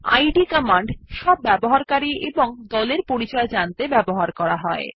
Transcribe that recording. Eid - command সব ব্যবহারকারী এবং দলের পরিচয় জানতে ব্যবহার করা হয়